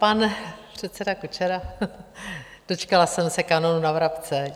Pan předseda Kučera - dočkala jsem se kanónu na vrabce.